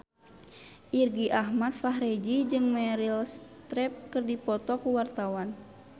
Irgi Ahmad Fahrezi jeung Meryl Streep keur dipoto ku wartawan